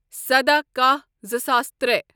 سداہ کاہ زٕ ساس ترٛے